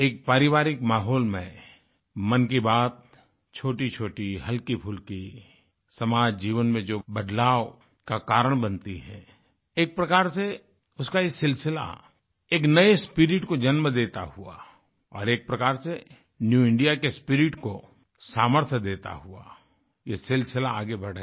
एक पारिवारिक माहौल में मन की बात छोटीछोटीहल्कीफुल्की समाज जीवन में जो बदलाव का कारण बनती है एक प्रकार से उसका ये सिलसिला एक नये स्पिरिट को जन्म देता हुआ और एक प्रकार से न्यू इंडिया के स्पिरिट को सामर्थ्य देता हुआ ये सिलसिला आगे बढ़े